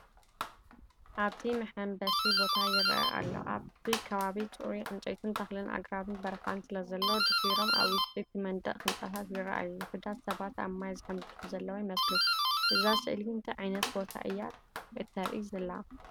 ኣብዚ መሐንበሲ ቦታ ይርአ ኣሎ። ኣብቲ ከባቢ ጽሩይ ዕንጨይትን ተኽሊ ኣግራብ በረኻን ስለዘሎ፡ ድሒሮም ኣብ ውሽጢ እቲ መንደቕ ህንጻታት ይረኣዩ። ውሑዳት ሰባት ኣብ ማይ ዝሕንብሱ ዘለዉ ይመስሉ። እዛ ስእሊ እንታይ ዓይነት ቦታ እያ እተርኢ ዘላ?